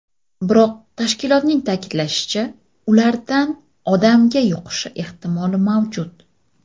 Biroq, tashkilotning ta’kidlashicha, ulardan odamga yuqishi ehtimoli mavjud.